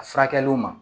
A furakɛliw ma